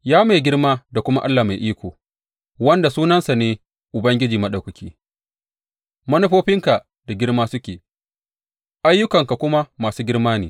Ya mai girma da kuma Allah mai iko, wanda sunansa ne Ubangiji Maɗaukaki, manufofinka da girma suke, ayyukanka kuma masu girma ne.